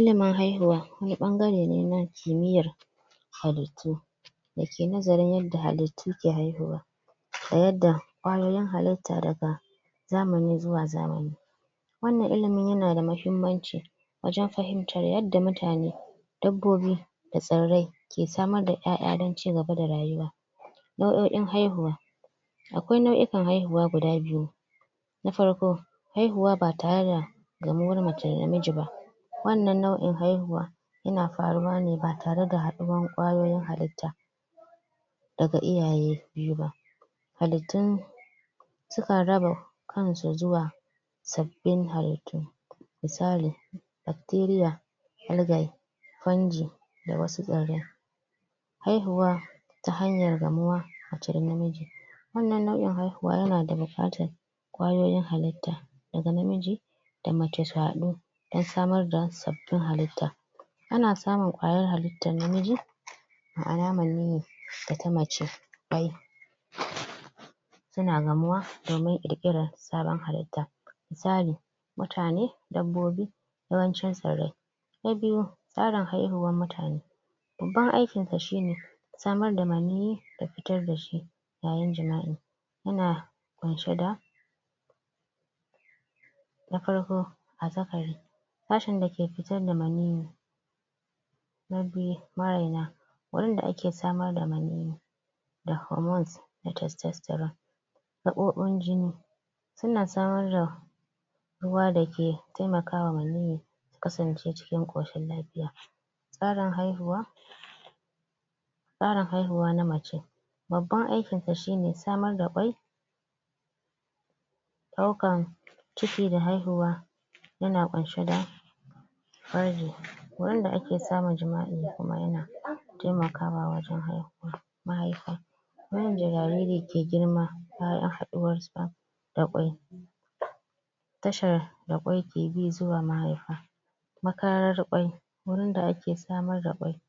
ilimin haihuwa wani ɓangare ne na kimiyyar halittu da ke nazarin yadda halittu ke haihuwa da yadda ƙwayoyin halitta daga zamani zuwa zamani wannan ilimin yana da mahimmanci wajen fahimtar yadda mutane dabbobi da tsirrai ke samar da 'ya 'ya dan ci gaba da rayuwa nauo'in haihuwa akwai nau'ikan haihuwa guda biyu na farko haihuwa ba tare da gamuwar mace da namiji ba wannan nau'in haihuwa yana faruwa ne ba tare da haɗuwan ƙwayoyin halitta daga iyaye biyu ba halittun sukan raba kansu zuwa sabbin halittu misali Bacteria Algae Fungi da wasu tsirrai haihuwa ta hanyar gamuwa mace da namiji wannan nau'in haihuwa yana da buƙatar ƙwayoyin halitta daga namiji da mace su haɗu dan samar da sabbin halitta ana samun ƙwayar halittan namiji ma'ana maniyyi da ta mace su na gamuwa domin ƙirƙirar sabon halitta? mutane dabbobi yawancin tsirrai na biyu tsarin haihuwan mutane babban aikin ta shine samar da maniyyi da fitar da shi yayin jima'i ya na ƙunshe da na farko azzakari sashen da ke fitar da maniyyi na biyu marena wurin da ake samar da maniyyi da hormones da testosterone? su na samar da ruwa da ke taimakawa maniyyi kasance cikin ƙoshin lafiya tsarin haihuwa tsarin haihuwa na mace babban aikin ta shine samar da ƙwai ɗaukan ciki da haihuwa ya na ƙunshe da? wanda ake samun jima'i da kuma ya na taimakawa wajen haihuwa mahaifa wannan? jariri yake girma bayan haɗuwar sa da ƙwai tashar da ƙwai ke bi zuwa mahaifa makarar ƙwai wurin da ake samar da ƙwai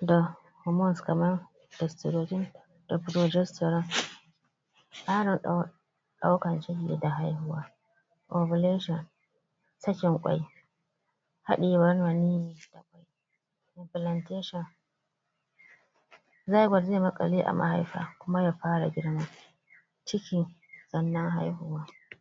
da hormones kaman estrogen da progesterone? ɗaukan ciki da haihuwa ovulation cickin ƙwai haɗiyewar maniyyi plantation zygote zai maƙale a mahaifa kuma ya fara girma cikin sannan haihuwa